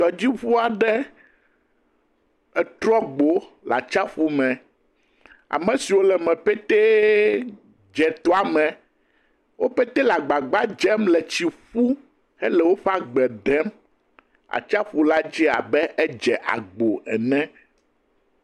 tɔdziŋu aɖe etrɔ gbo le atsiaƒu me. Ame siwo le eme pɛtɛ dze etɔa me. Wo pɛtɛ le agbagbadzem le tsi ƒum hele woƒe agbe ɖem. Atsiaƒu la dze abe edze agbo ene.